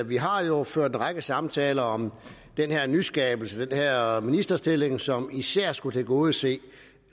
vi har jo ført en række samtaler om den her nyskabelse den her ministerstilling som især skulle tilgodese